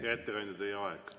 Hea ettekandja, teie aeg!